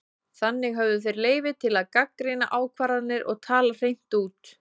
Þannig höfðu þeir leyfi til að gagnrýna ákvarðanir og tala hreint út.